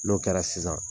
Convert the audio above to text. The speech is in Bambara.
N'o kɛra sisan